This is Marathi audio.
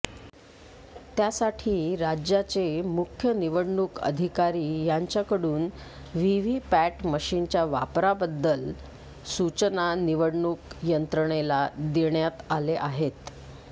त्यासाठी राज्याचे मुख्य निवडणुक अधिकारी यांच्याकडून व्हीव्हीपॅट मशिनच्या वापराबद्दल सूचना निवडणूक यंत्रणेला देण्यात आले आहेत